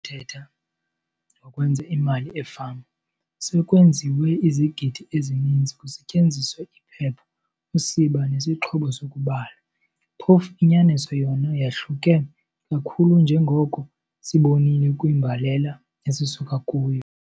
Thetha ngokwenza imali efama, 'sekwenziwe izigidi' ezininzi kusetyenziswa iphepha, usiba nesixhobo sokubala. Phofu inyaniso yona yahluke kakhulu njengoko sibonile kwimbalela esisuka kuyo.